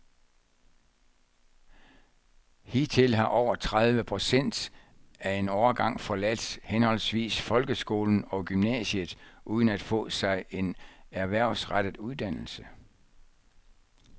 Hidtil har over tredive procent af en årgang forladt henholdsvis folkeskolen og gymnasiet uden at få sig en erhvervsrettet uddannelse.